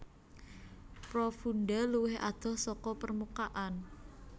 Profunda luwih adoh saka permukaan